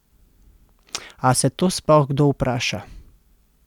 A se to sploh kdo vpraša?